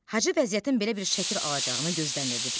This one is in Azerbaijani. Hacı vəziyyətin belə bir şəkil alacağını gözləmirdi.